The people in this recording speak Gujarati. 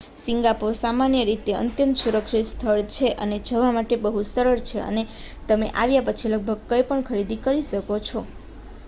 સિંગાપોર સામાન્ય રીતે અત્યંત સુરક્ષિત સ્થળ છે અને જવા માટે બહુ સરળ છે અને તમે આવ્યા પછી લગભગ કઈં પણ ખરીદી શકો છો